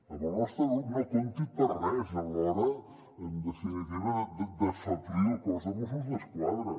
amb el nostre grup no compti per res a l’hora en definitiva d’afeblir el cos de mossos d’esquadra